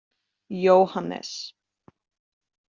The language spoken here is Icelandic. Jóhannes